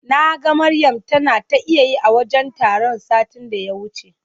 Naga Maryam tana ta iyayi a wajen taron satin da ya wuce.